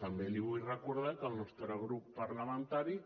també li vull recordar que el nostre grup parlamentari